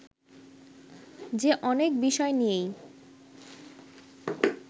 যে অনেক বিষয় নিয়েই